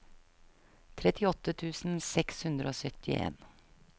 trettiåtte tusen seks hundre og syttien